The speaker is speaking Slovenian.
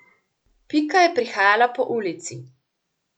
Pika je prihajala po ulici.